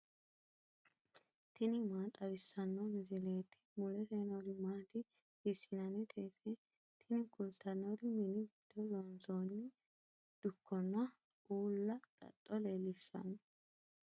tini maa xawissanno misileeti ? mulese noori maati ? hiissinannite ise ? tini kultannori mini giddo loonsoonni dukkonna uulla xaxxo leellishshanno.